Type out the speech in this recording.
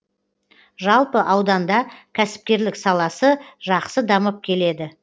жалпы ауданда кәсіпкерлік саласы жақсы дамып келеді